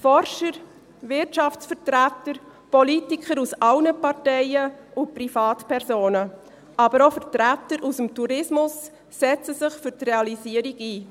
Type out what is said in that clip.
Forscher, Wirtschaftsvertreter, Politiker aus allen Parteien und Privatpersonen, aber auch Vertreter aus dem Tourismus setzen sich für die Realisierung ein.